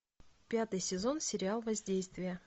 пятый сезон сериал воздействие